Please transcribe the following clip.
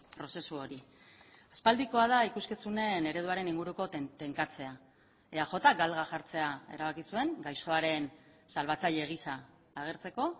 prozesu hori aspaldikoa da ikuskizunen ereduaren inguruko tenkatzea eajk galga jartzea erabaki zuen gaixoaren salbatzaile gisa agertzeko